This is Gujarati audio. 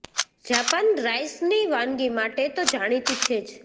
જાપાન રાઈસની વાનગી માટે તો જાણીતું છે જ